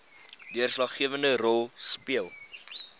deurslaggewende rol speel